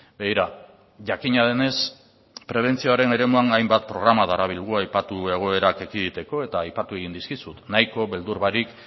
begira jakina denez prebentzioaren eremuan hainbat programa darabilgu aipatu egoerak ekiditeko eta aipatu egin dizkizut nahiko beldur barik